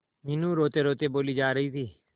मीनू रोतेरोते बोली जा रही थी